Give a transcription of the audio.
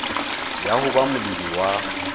ya ho ba molemi wa